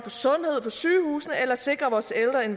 sikret sig at